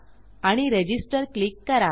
आणि register click करा